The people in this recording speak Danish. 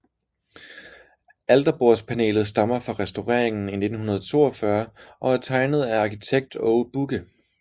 Alterbordspanelet stammer fra restaureringen i 1942 og er tegnet af arkitekt Aage Bugge